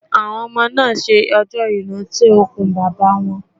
Àwọn ọmọ náà ń ṣe ọjọ́ ìrántí òkú Bàbá wọn